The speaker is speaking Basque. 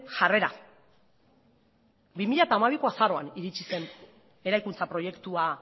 jarrera bi mila hamabiko azaroan iritzi zen eraikuntza proiektua